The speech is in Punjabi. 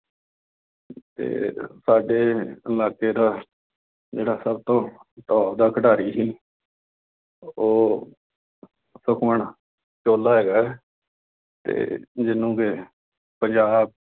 ਤੇ ਸਾਡੇ ਇਲਾਕੇ ਦਾ ਜਿਹੜਾ ਸਭ ਤੋਂ top ਦਾ ਖਿਡਾਰੀ ਸੀ। ਉਹ ਸੁਖਮਨ ਚੋਹਲਾ ਹੈਗਾ ਤੇ ਮੈਨੂੰ ਪੰਜਾਬ